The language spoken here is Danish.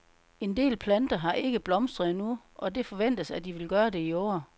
En del planter har ikke blomstret endnu, og det forventes, at de vil gøre det i år.